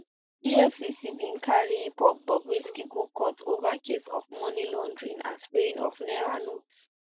efcc bin carry bobrisky go court ova case of money laundering and spraying of naira notes